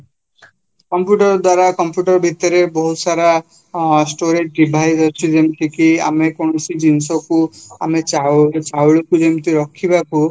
computer ଦ୍ଵାରା computer ଭିତରେ ବହୁତ ସାରା ଆଁ storage device ଅଛି ଯେମିତିକି ଆମେ କୌଣସି ଜିନିଷକୁ ଆମେ ଚାଉଳକୁ ଯେମିତି ରଖିବିବାକୁ